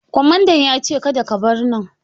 Kwamadan ya ce " Kada ka bar nan"!